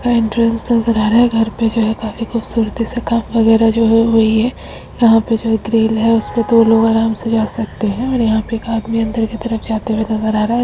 का एंट्रेंस नजर आ रहा है घर पे जो है काफी खूबसूरती से काम वगैरह जो है वही है यहाँ पे जो है एक ग्रिल है उस पे दो लोग आराम से जा सकते है और यहाँ पे एक आदमी अंदर की तरफ जाते हुए नजर आ रहा है।